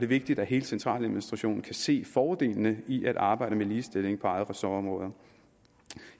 vigtigt at hele centraladministrationen kan se fordelene i at arbejde med ligestilling på eget ressortområde